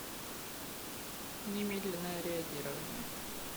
немедленное реагирование